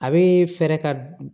A be fɛɛrɛ ka